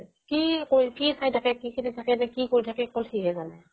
কি কৈ কি চাই থাকে কি কি কৰি থাকে অকল সি হে জানে